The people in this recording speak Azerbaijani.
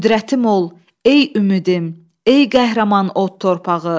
Qüdrətim ol, ey ümidim, ey qəhrəman od torpağı.